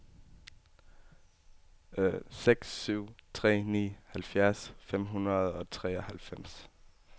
seks syv tre ni halvfjerds fem hundrede og treoghalvfems